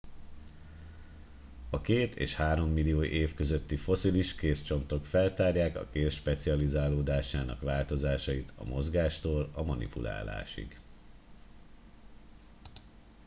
a két és három millió év közötti fosszilis kézcsontok feltárják a kéz specializálódásának változásait a mozgástól a manipulálásig